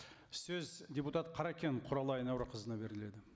сөз депутат қаракен құралай әнуарқызына беріледі